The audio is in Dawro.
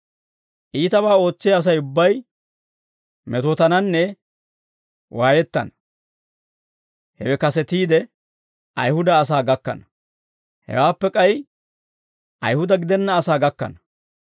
Iitabaa ootsiyaa Asay ubbay metootananne waayettana; hewe kasetiide, Ayihuda asaa gakkana; hewaappe k'ay Ayihuda gidenna asaa gakkana.